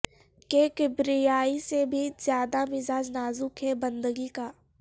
کہ کبریائی سے بھی زیادہ مزاج نازک ہے بندگی کا